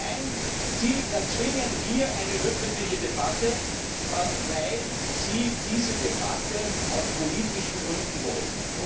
Nein, Sie erzwingen hier eine öffentliche Debatte, weil Sie diese Debatte aus politischen Gründen wollen!